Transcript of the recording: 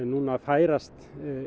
að færast